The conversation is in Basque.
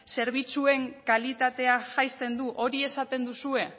zerbitzuen kalitatea jaisten du hori esaten duzue